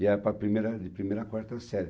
E era para primeira, de primeira a quarta série.